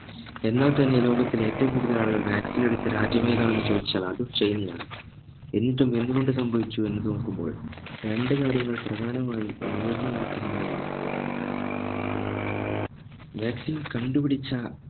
എന്നാൽ തന്നെ ലോകത്തിലെ ഏറ്റവും കൂടുതൽ ആളുകൾ vaccine എടുത്ത രാജ്യമേതാണെന്ന് ചോദിച്ചാൽ അതും ചൈന ആണ് എന്നിട്ടും എന്ത് കൊണ്ട് സംഭവിച്ചു എന്നത് നോക്കുമ്പോൾ രണ്ട് കാര്യങ്ങൾ പ്രധാനമായും ഉയർന്നു നിൽക്കുന്നതായി നമ്മുക്ക് കാണാം vaccine കണ്ടു പിടിച്ച